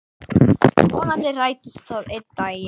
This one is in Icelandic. Vonandi rætist það einn daginn.